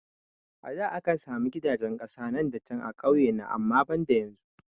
A da akan sami gidajen kasa nan da can a kauye na amma banda yanzu